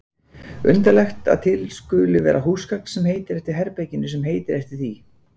Undarlegt að til skuli vera húsgagn sem heitir eftir herberginu sem heitir eftir því.